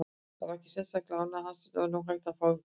Það vakti sérstaka ánægju hans að nú var hægt að fá te.